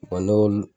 n'olu